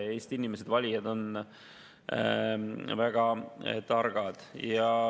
Eesti inimesed, valijad on väga targad.